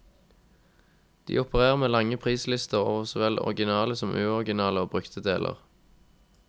De opererer med lange prislister over så vel originale som uoriginale og brukte deler.